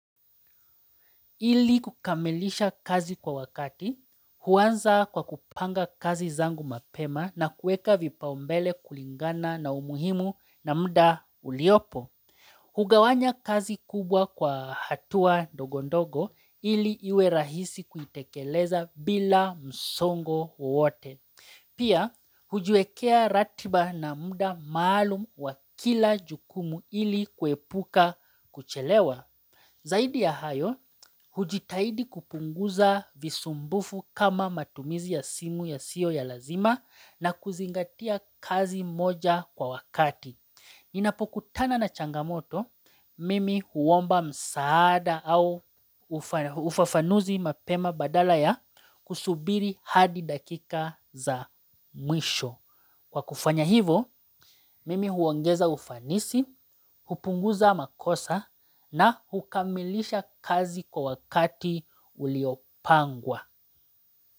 Ili kukamilisha kazi kwa wakati, huanza kwa kupanga kazi zangu mapema na kueka vipaumbele kulingana na umuhimu na mda uliopo. Hugawanya kazi kubwa kwa hatua ndogondogo ili iwe rahisi kuitekeleza bila msongo wowote. Pia, hujiwekea ratiba na mda maalum wa kila jukumu ili kuepuka kuchelewa. Zaidi ya hayo, hujitahidi kupunguza visumbufu kama matumizi ya simu ya siyo ya lazima na kuzingatia kazi moja kwa wakati. Nina pokutana na changamoto, mimi huomba msaada au ufafanuzi mapema badala ya kusubiri hadi dakika za mwisho. Kwa kufanya hivo, mimi huongeza ufanisi, hupunguza makosa na hukamilisha kazi kwa wakati uliopangwa.